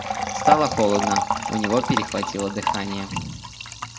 стало холодно у него перехватило дыхание